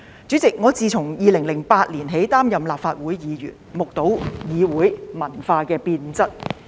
主席，我自2008年起擔任立法會議員，目睹議會文化的變質。